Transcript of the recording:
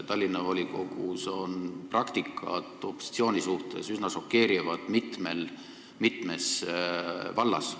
Tallinna volikogus on opositsiooni suhtes kasutatav praktika üsna šokeeriv mitmes vallas.